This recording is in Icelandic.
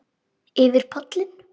Útyfir pollinn